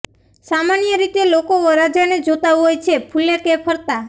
સામાન્ય રીતે લોકો વરરજાને જોતા હોય છે ફૂલેકે ફરતા